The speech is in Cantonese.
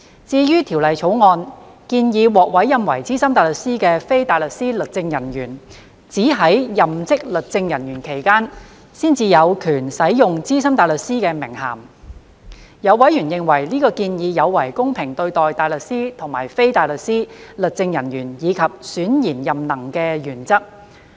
至於《條例草案》建議獲委任為資深大律師的非大律師律政人員，只在任職律政人員期間，才有權使用資深大律師的名銜，有委員認為，這建議有違公平對待大律師和非大律師律政人員及選賢任能的原則。